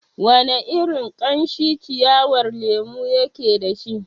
Wana irin kamshi ciyawar lemon yake dashi?